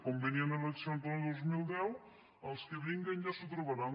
com venien eleccions l’any dos mil deu els que vinguen ja s’ho trobaran